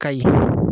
Kayi